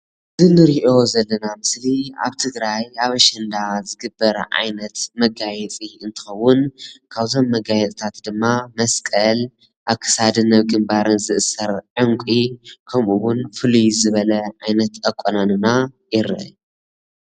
እንርኦ ዘለና ምስሊ ኣብ ትግራይ ኣብ ኣሸንዳ ዝግበር ዓይነት መጋየፂ አንትከዉን ካብዞም መጋየፂ ታት ድማ መስቀል ኣብ ክሳደን ግንባረንን ዝእሰር ዑንቂ ከምኡ'ውን ፍልይ ዝበለ ዓይነት ኣቋንና ይረአ።